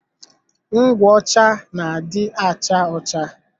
Ngwụ ọcha na adị acha ọcha